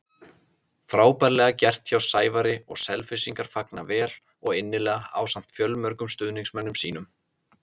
Frábærlega gert hjá Sævari og Selfyssingar fagna vel og innilega ásamt fjölmörgum stuðningsmönnum sínum.